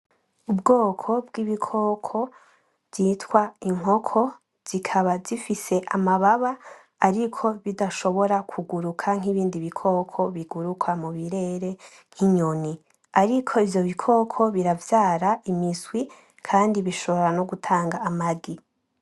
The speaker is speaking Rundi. Ubwoko bw'ibikoko vyitwa inkoko, zikaba zifise amababa ariko bidashobora kuguruka nk'ibindi bikoko biguruka mu birere nk'inyoni. Ariko ivyo bikoko biravyara imiswi kandi bishobora no gutanga amagi.